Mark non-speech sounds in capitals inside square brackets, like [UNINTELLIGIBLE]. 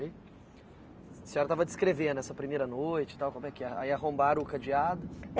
[UNINTELLIGIBLE] A senhora estava descrevendo essa primeira noite e tal, como é que é, aí arrombaram o cadeado.